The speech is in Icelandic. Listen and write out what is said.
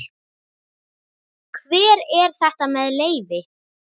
Hver er þetta með leyfi?